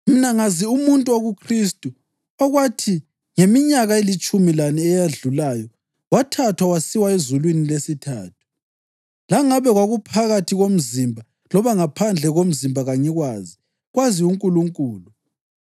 Mina ngazi umuntu okuKhristu okwathi ngeminyaka elitshumi lane eyedlulayo wathathwa wasiwa ezulwini lesithathu. Langabe kwakuphakathi komzimba loba ngaphandle komzimba kangikwazi, kwazi uNkulunkulu.